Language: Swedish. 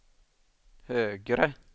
högre